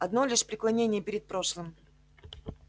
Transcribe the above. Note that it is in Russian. одно лишь преклонение перед прошлым